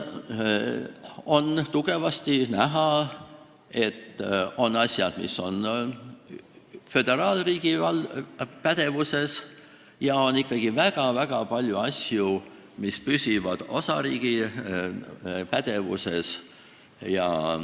On tugevasti näha, et on asju, mis on föderaalriigi pädevuses, ja on ikkagi väga-väga palju asju, mis püsivad osariigi pädevuses.